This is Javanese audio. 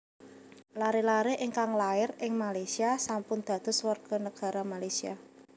Lare lare ingkang lair ing Malaysia sampun dados warga negara Malaysia